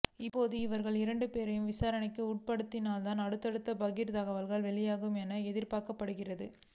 இப்போது இவர்கள் இரண்டு பேரையும் விசாரணைக்கு உட்படுத்தினால்தான் அடுத்தடுத்த பகீர் தகவல்கள் வெளியாகும் என எதிர்பார்க்கப்படுகிறது